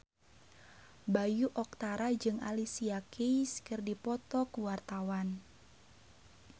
Bayu Octara jeung Alicia Keys keur dipoto ku wartawan